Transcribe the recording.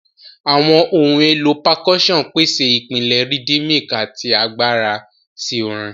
Awọn ohun elo Percussion pese ipilẹ rhythmic ati agbara si orin.